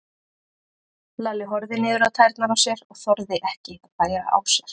Lalli horfði niður á tærnar á sér og þorði ekki að bæra á sér.